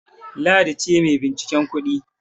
Ladi ce mai binciken kudin.